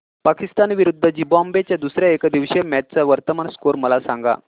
पाकिस्तान विरुद्ध झिम्बाब्वे च्या दुसर्या एकदिवसीय मॅच चा वर्तमान स्कोर मला सांगा